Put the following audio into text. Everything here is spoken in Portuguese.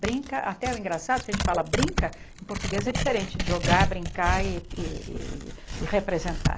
Brinca, até o engraçado que a gente fala brinca, em português é diferente de jogar, brincar e e e representar.